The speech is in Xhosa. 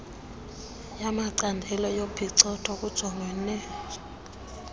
yamacandelo yophicotho kujongwene